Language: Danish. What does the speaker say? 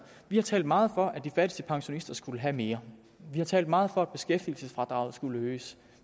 vi har talt meget for at de fattigste pensionister skulle have mere vi har talt meget for at beskæftigelsesfradraget skulle øges